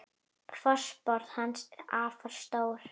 Fótspor hans er afar stórt.